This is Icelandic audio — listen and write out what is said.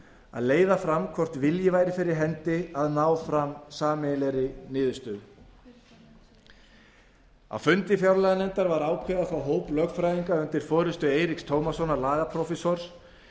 að leiða fram hvort vilji væri fyrir hendi að ná fram sameiginlegri niðurstöðu á fundi fjárlaganefndar var ákveðið að fá hóp lögfræðinga undir forustu eiríks tómassonar lagaprófessors